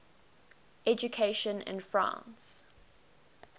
education in france